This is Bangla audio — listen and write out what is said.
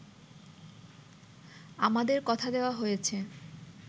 আমাদের কথা দেওয়া হয়েছে